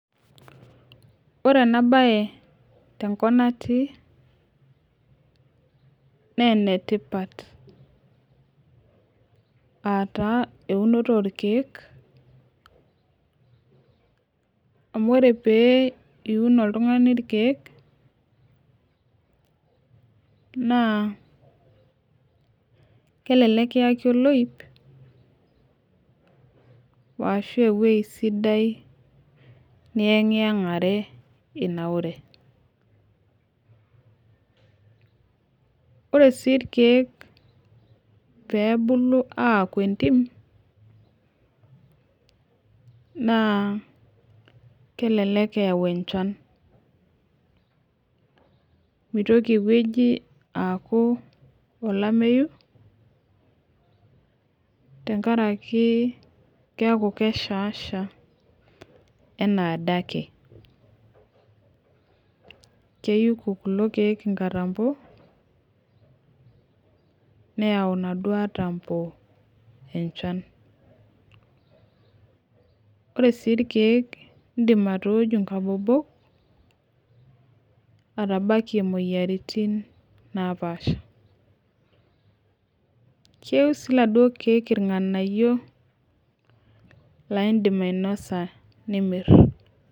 Ore ena baye tenkop natii naa enetipat aa taa eunoto orkeek amu ore pee iun oltung'ani irkeek naa kelelek kiyaki olooip ashu ewueji sidai niyang'iyang'are itanaure ore sii irkeek pee ebulu aaku entim naa kelelek eyau enchan, mitoki ewueji aaku olameyu keeku keshaasha enaa adake keyuko kulok keek nkatambo naa keyau inaduo atambo enchan ore sii irkeek iindim atooju nkabobok atabakie imoyiaritin naapaasha keiu sii iladuo keek irng'anayio laa iindim ainasa nimirr.